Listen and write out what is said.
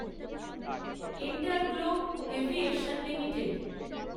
InterGlobe Aviation limited